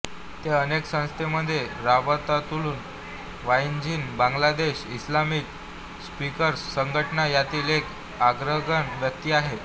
ते अनेक संस्थांमध्ये रबातातुल वाईझिन बांगलादेश इस्लामिक स्पीकर्स संघटना यातील एक अग्रगण्य व्यक्ती आहेत